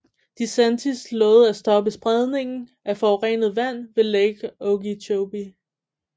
DeSantis lovede at stoppe spredningen af forurenet vand fra Lake Okeechobee